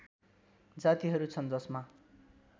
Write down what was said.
जातिहरू छन् जसमा